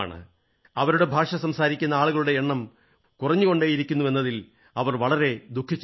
അവരുടെ ഭാഷ സംസാരിക്കുന്ന ആളുകളുടെ എണ്ണം കുറഞ്ഞുകൊണ്ടേയിരിക്കുന്നുവെന്നതിൽ അവർ വളരെ ദുഃഖിച്ചിരുന്നു